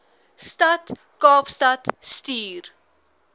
stad kaapstad stuur